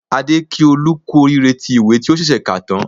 Adé kí Olú kú oríire tí ìwé tí ó ṣẹ̀ṣẹ̀ kà tán